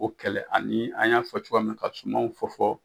o kɛlɛ ani an y'an fɔ cogoya min ka sumanw fɔ fɔ